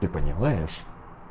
ты понимаешь